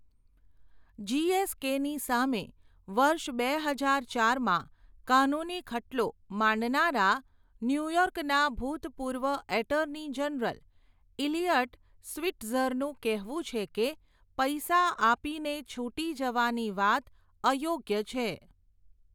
જીએસકેની સામે, વર્ષ બે હજાર ચાર માં, કાનૂની ખટલો, માંડનારા, ન્યૂયોર્કના ભૂતપૂર્વ એટર્ની જનરલ, ઇલિયટ સ્વિટ્ઝરનું કહેવું છે કે, પૈસા આપીને, છૂટી જવાની વાત અયોગ્ય છે.